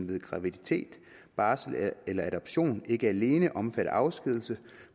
ved graviditet barsel eller adoption ikke alene omfatter afskedigelse